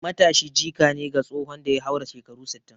Matashi jika ne ga tsohon da ya haura shekaru sittin